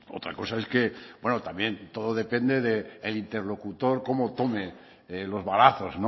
no otra cosa es que bueno también todo depende de el interlocutor cómo tome los balazos